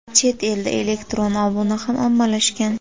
Chet elda elektron obuna ham ommalashgan.